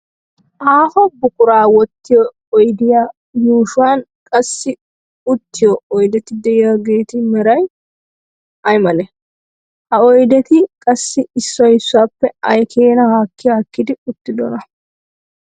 Aaho buquraa wottiyo oydiya yuushuwan qassi uttiyo oydeti de"iyaageeti meray aymale? Ha oydeti qassi issoy issuwaappe ay keenaa haakki haakkidi uttidonaa?